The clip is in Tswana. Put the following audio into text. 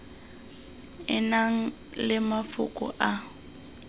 e nang le mafoko a